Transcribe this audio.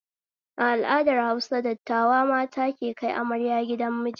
A al'adar Hausa, dattawa mata ke kai amarya gidan miji